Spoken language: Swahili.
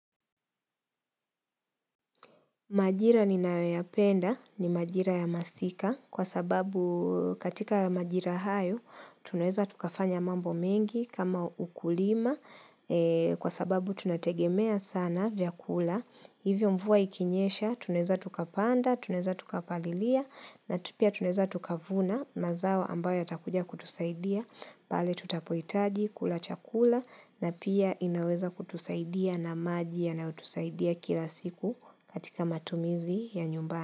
Majira ninayo ya penda ni majira ya masika kwa sababu katika majira hayo tunaweza tukafanya mambo mengi kama ukulima kwa sababu tunategemea sana vyakula. Hivyo mvua ikinyesha, tuneza tukapanda, tuneza tukapalilia, na tupia tuneza tukavuna, mazawa ambayo ya takuja kutusaidia, pale tutapoitaji, kulachakula, na pia inaweza kutusaidia na maji yanayo tusaidia kila siku katika matumizi ya nyumbani.